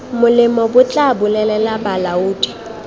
molemo bo tla bolelela balaodi